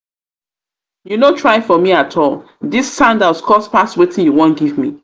you no try you no try for me at all dis sandals cost past wetin you wan give me